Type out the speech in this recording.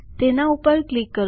તેના પર ક્લિક કરો